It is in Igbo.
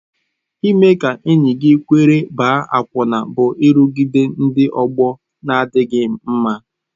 Ime ka enyi gị kwere ịgba akwụna bụ nrụgide ndị ọgbọ na-adịghị mma.